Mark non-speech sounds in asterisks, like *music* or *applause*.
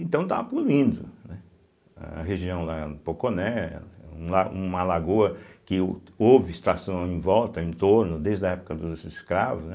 Então estava, *unintelligible* né, a região lá Poconé, um la uma lagoa que o houve extração em volta, em torno, desde a época dos escravos, né.